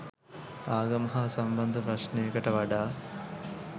ආගම හා සම්බන්ධ ප්‍රශ්ණයකට වඩා